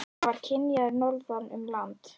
Hann var kynjaður norðan um land.